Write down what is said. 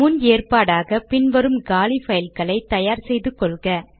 முன் ஏற்பாடாக பின் வரும் காலி பைல்களை தயார் செய்து கொள்க